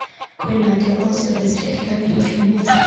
Kwĩna ndĩa o ciothe cirekĩka Naĩrobĩ ũmũthĩ ?